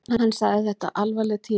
Hann sagði þetta alvarleg tíðindi